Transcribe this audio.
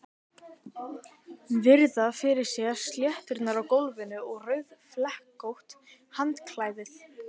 Virða fyrir sér sletturnar á gólfinu og rauðflekkótt handklæðið.